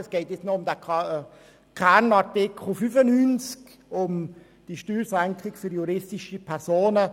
Nun geht es noch um den Kernartikel 95, um die Steuersenkung für juristische Personen.